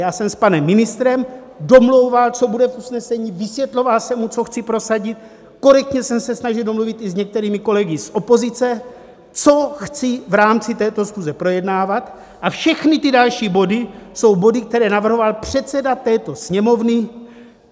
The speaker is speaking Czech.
Já jsem s panem ministrem domlouval, co bude v usnesení, vysvětloval jsem mu, co chci prosadit, korektně jsem se snažil domluvit i s některými kolegy z opozice, co chci v rámci této schůze projednávat, a všechny ty další body jsou body, které navrhoval předseda této Sněmovny.